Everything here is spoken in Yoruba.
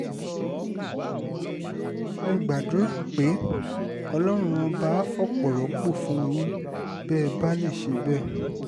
mo gbàdúrà pé ọlọ́run ọba àá fọpo rọ́pò fún yín bẹ́ẹ̀ bá lè ṣe bẹ́ẹ̀